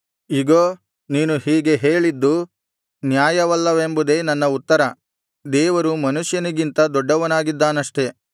ಇಗೋ ನೀನು ಹೀಗೆ ಹೇಳಿದ್ದು ನ್ಯಾಯವಲ್ಲವೆಂಬುದೇ ನನ್ನ ಉತ್ತರ ದೇವರು ಮನುಷ್ಯನಿಗಿಂತ ದೊಡ್ಡವನಾಗಿದ್ದಾನಷ್ಟೆ